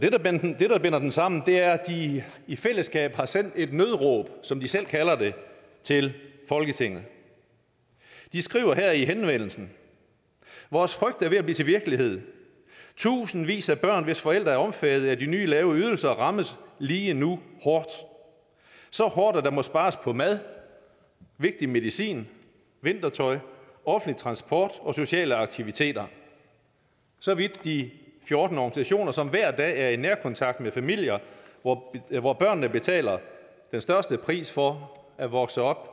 det der binder dem sammen er at de i fællesskab har sendt et nødråb som de selv kalder det til folketinget de skriver i henvendelsen vores frygt er ved at blive til virkelighed tusindvis af børn hvis forældre er omfattet af de nye lave ydelser rammes lige nu hårdt så hårdt at der må spares på mad vigtig medicin vintertøj offentlig transport og sociale aktiviteter så vidt de fjorten organisationer som hver dag er i nærkontakt med familier hvor hvor børnene betaler den største pris for at vokse op